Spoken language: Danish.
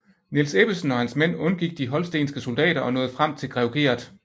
Niels Ebbesen og hans mænd undgik de holstenske soldater og nåede frem til grev Gert